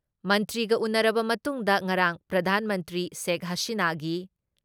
ꯃꯟꯇ꯭ꯔꯤꯒ ꯎꯟꯅꯔꯕ ꯃꯇꯨꯡꯗ ꯉꯔꯥꯡ ꯄ꯭ꯔꯙꯥꯟ ꯃꯟꯇ꯭ꯔꯤ ꯁꯦꯈ ꯍꯁꯤꯅꯥꯒꯤ